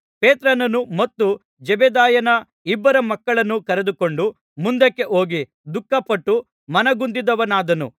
ಪೇತ್ರನನ್ನು ಮತ್ತು ಜೆಬೆದಾಯನ ಇಬ್ಬರು ಮಕ್ಕಳನ್ನು ಕರೆದುಕೊಂಡು ಮುಂದಕ್ಕೆ ಹೋಗಿ ದುಃಖಪಟ್ಟು ಮನಗುಂದಿದವನಾದನು